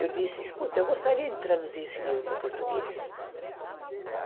Eu disse, escuta, eu gostaria de traduzir esse livro para o português.